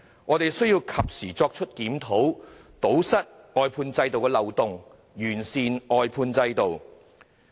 我們需要及時作出檢討，堵塞外判制度的漏洞，完善外判制度。